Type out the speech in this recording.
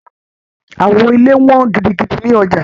Awo ilẹ wọ́n gidigidi ní ọjà.